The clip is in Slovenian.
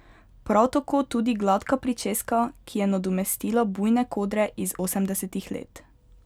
Prav tako tudi gladka pričeska, ki je nadomestila bujne kodre iz osemdesetih let.